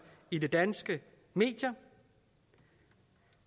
i de danske medier